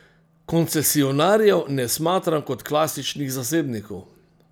Koncesionarjev ne smatram kot klasičnih zasebnikov.